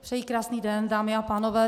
Přeji krásný den, dámy a pánové.